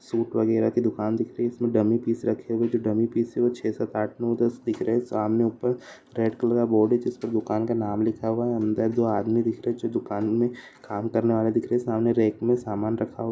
Shoot वगेरा की दुकान दिख रही है। इसमें डमी पीेछे रखे हुए है जो डमी पीस है। वह छह साथ आठ नौ दस दिख रहे है। सामने ऊपर रेड कलर का बोर्ड है। जिसमे दुकान का नाम लिखा हुआ है अंदर जो आदमी दिख रहा है। जो दुकान में काम करने वाला दिख रहा है सामने रैक में सामान रखा हुआ --